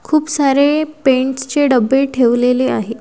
खुप सारे पेंट्स चे डब्बे ठेवलेले आहेत.